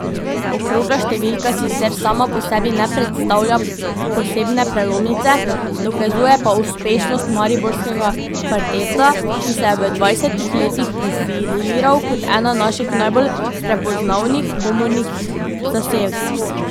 Okrogla številka sicer sama po sebi ne predstavlja posebne prelomnice, dokazuje pa uspešnost mariborskega kvarteta, ki se je v dvajsetih letih profiliral kot ena naših najbolj prepoznavnih komornih zasedb.